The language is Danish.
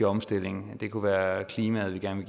omstilling det kunne være klimaet vi gerne